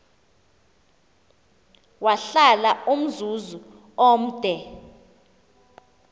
wahlala umzuzu omde